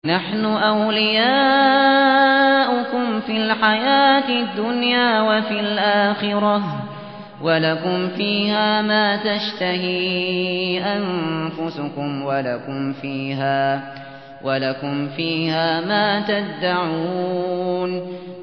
نَحْنُ أَوْلِيَاؤُكُمْ فِي الْحَيَاةِ الدُّنْيَا وَفِي الْآخِرَةِ ۖ وَلَكُمْ فِيهَا مَا تَشْتَهِي أَنفُسُكُمْ وَلَكُمْ فِيهَا مَا تَدَّعُونَ